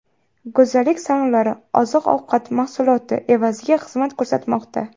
Go‘zallik salonlari oziq-ovqat mahsuloti evaziga xizmat ko‘rsatmoqda.